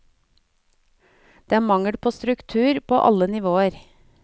Det er mangel på struktur på alle nivåer.